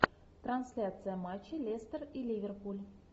трансляция матча лестер и ливерпуль